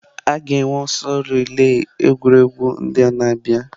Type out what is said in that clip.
A ga-enwe ọsọ relai egwuregwu ụlọ a na-abịa.